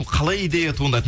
қалай идея туындады